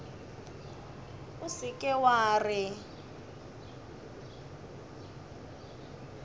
o se ke wa re